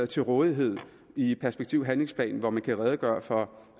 til rådighed i perspektiv og handlingsplanen hvor man kan redegøre for